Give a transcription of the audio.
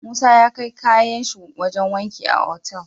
Musa ya kai kayan shi wajan wanki a Otal